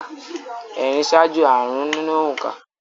Ẹ̀rin ṣáájú àrụ́n nínú òǹkà